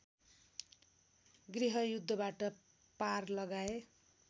गृहयुद्धबाट पार लगाए